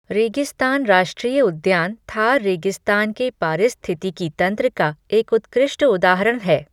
रेगिस्तान राष्ट्रीय उद्यान थार रेगिस्तान के पारिस्थितिकी तंत्र का एक उत्कृष्ट उदाहरण है।